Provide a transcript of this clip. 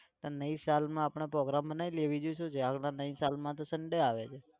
તો नई साल માં આપણે program બનાવી લઈએ બીજું શું છે. હાલમાં नई साल માં તો sunday આવે.